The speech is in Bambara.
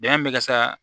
Bɛn bɛ ka sa